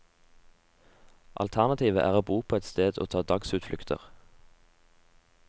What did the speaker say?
Alternativet er å bo på ett sted og ta dagsutflukter.